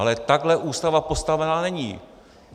Ale takhle Ústava postavená není.